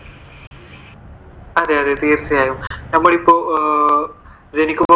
അതെ അതെ തീർച്ചയായും. നമ്മളിപ്പോൾ ജനിക്കുമ്പോൾ